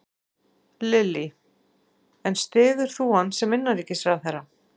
Lillý: En styður þú hann sem innanríkisráðherra?